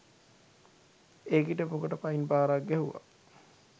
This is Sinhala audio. ඒකිට පුකට පයින් පාරක් ගැහුවා